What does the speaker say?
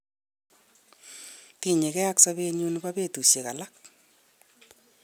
Tinyege ak sobeyun nebo betushek alak.